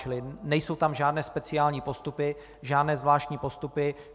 Čili nejsou tam žádné speciální postupy, žádné zvláštní postupy.